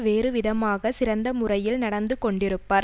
வேறுவிதமாகச் சிறந்த முறையில் நடந்து கொண்டிருப்பார்